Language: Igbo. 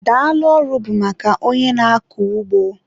Daalụ ọrụ bụ maka onye na-akọ ugbo